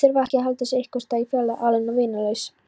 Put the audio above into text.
Þurfa að halda sér einhversstaðar í fjarlægð, aleinn og vinalaus.